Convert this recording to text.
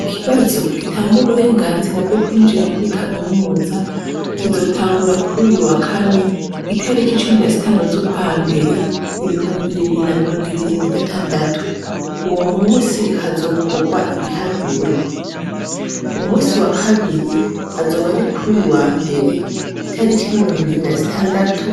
Ikibazo gitanguwa uburenganzira bwo kwinjira muri kaminuza kizotangura kuri uyu wakane itariko icumi na sitanu z'ukwa mbere ibihumbi bibiri na mirongo ibiri na mu gatandatu uwo musi hazokorwa ibiharuro umusi wa kabiri azoba ari kuri uyu wa mbere ere itariko imirongo ibiri na zitandatu